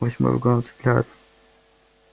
восьмой вагон отцепляют